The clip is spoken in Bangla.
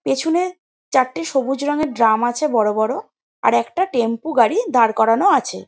পিছনে চারটে সবুজ রঙের ড্রাম আছে বড়ো বড়ো আর একটা টেম্পু গাড়ি দাঁড় করানো আছে।